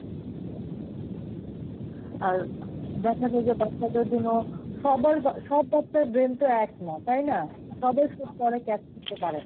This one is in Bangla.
আর দেখা যায় যে বাচ্চাদের জন্য সবার বা~ সব বাচ্চার brain তো এক না, তাই না? সবাই সব পড়া catch করতে পারে না.